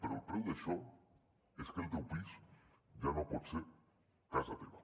però el preu d’això és que el teu pis ja no pot ser casa teva